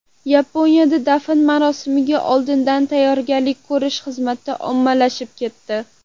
Yaponiyada dafn marosimiga oldindan tayyorgarlik ko‘rish xizmati ommalashib ketdi.